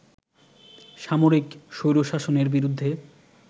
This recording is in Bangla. সামরিক স্বৈরশাসনের বিরুদ্ধে